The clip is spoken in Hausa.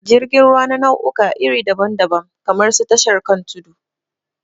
Jirgin ruwa na na'uka iri dabam dabam kamar su tashar kan tudu